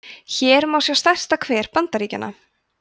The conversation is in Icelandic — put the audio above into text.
hér má sjá stærsta hver bandaríkjanna